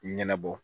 Ɲɛnabɔ